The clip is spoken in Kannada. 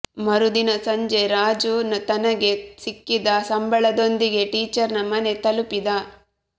ಮರುದಿನ ಸಂಜೆ ರಾಜು ತನಗೆ ಸಿಕ್ಕಿದ ಸಂಬಳದೊಂದಿಗೆ ಟೀಚರ್ ನ ಮನೆ ತಲುಪಿದ